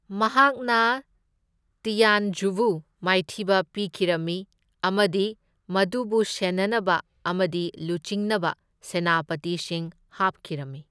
ꯃꯍꯥꯛꯅ ꯇꯤꯌꯥꯟꯓꯨꯕꯨ ꯃꯥꯏꯊꯤꯕ ꯄꯤꯈꯤꯔꯝꯃꯤ, ꯑꯃꯗꯤ ꯃꯗꯨꯕꯨ ꯁꯦꯟꯅꯅꯕ ꯑꯃꯗꯤ ꯂꯨꯆꯤꯡꯅꯕ ꯁꯦꯅꯥꯄꯇꯤꯁꯤꯡ ꯍꯥꯞꯈꯤꯔꯝꯃꯤ꯫